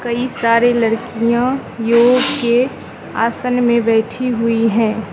कई सारे लड़कियां योग के आसन में बैठी हुई हैं।